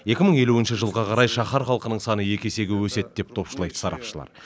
екі мың елуінші жылға қарай шаһар халқының саны екі есеге өседі деп топшылайды сарапшылар